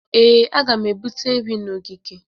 Ee, a ga m ebute nri na ogige